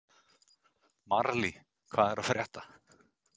Marley, hvað er að frétta?